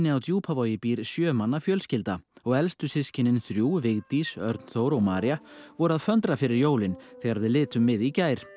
á Djúpavogi býr sjö manna fjölskylda og elstu systkinin þrjú Vigdís Örn Þór og María voru að föndra fyrir jólin þegar við litum við í gær